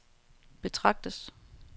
betragtes